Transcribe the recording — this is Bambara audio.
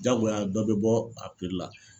Jagoya dɔ bɛ bɔ a la.